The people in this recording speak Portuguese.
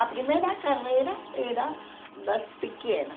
A primeira carreira era das pequenas.